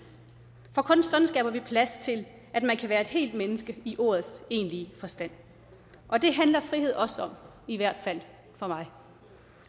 for kun sådan skaber vi plads til at man kan være et helt menneske i ordets egentlige forstand og det handler frihed også om i hvert fald for mig